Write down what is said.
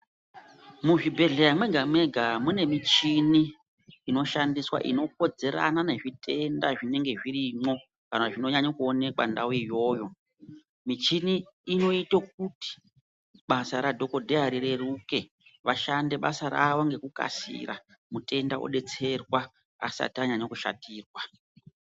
Muzvibhehleya mwega mwega mune michini inoshandiswa inokodzerana nezvitenda zvinenge zvirimwo kana zvinonyanya kuonekwa ndau iyoyo. Michini inoite kuti basa radhokodheya rireruke vashande basa ravo ngekukasira mutenda odetserwa asati anyanya kushatirwa.